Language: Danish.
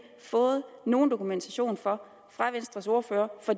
fået nogen dokumentation fra venstres ordfører for